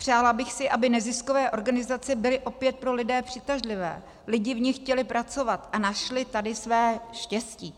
Přála bych si, aby neziskové organizace byly opět pro lidi přitažlivé, lidi v nich chtěli pracovat a našli tady své štěstí.